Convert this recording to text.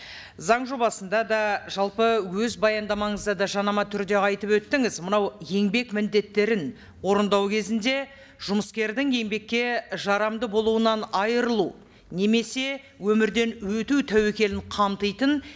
заң жобасында да жалпы өз баяндамаңызда да жаңама түрде айтып өттіңіз мынау еңбек міндеттерін орындау кезінде жұмыскердің еңбекке жарамды болуынан айырылу немесе өмірден өту тәуекелін қамтитын